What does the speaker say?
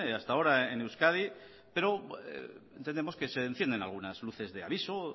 hasta ahora en euskadi pero entendemos que se encienden algunas luces de aviso